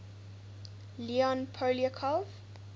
leon poliakov